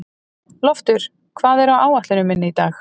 Loftur, hvað er á áætluninni minni í dag?